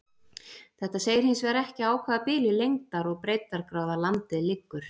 þetta segir hins vegar ekki á hvaða bili lengdar og breiddargráða landið liggur